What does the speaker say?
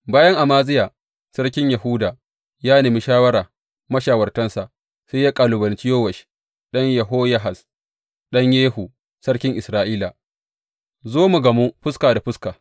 Bayan Amaziya sarkin Yahuda ya nemi shawara mashawartansa, sai ya kalubalanci Yowash ɗan Yehoyahaz, ɗan Yehu, sarkin Isra’ila, Zo mu gamu fuska da fuska.